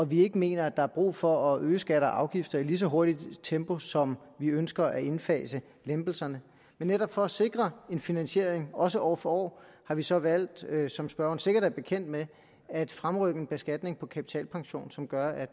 vi ikke mener at der er brug for at øge skatter og afgifter i lige så hurtigt tempo som vi ønsker at indfase lempelserne netop for at sikre en finansiering også år for år har vi så valgt som spørgeren sikkert er bekendt med at fremrykke en beskatning på kapitalpension som gør at